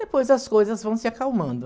Depois as coisas vão se acalmando.